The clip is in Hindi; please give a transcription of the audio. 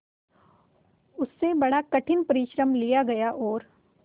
उससे बड़ा कठिन परिश्रम लिया गया और